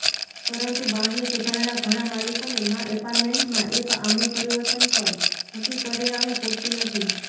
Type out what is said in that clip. પરંતુ બાહ્ય સુધારણા ઘણા માલિકોને માં એપાર્ટમેન્ટમાં એક આમૂલ પરિવર્તન પર નક્કી પરિણામે પૂરતી નથી